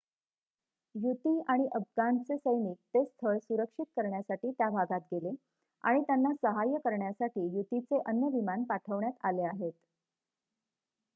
युती आणि अफगाणचे सैनिक ते स्थळ सुरक्षित करण्यासाठी त्या भागात गेले आणि त्यांना सहाय्य करण्यासाठी युतीचे अन्य विमान पाठविण्यात आले आहेत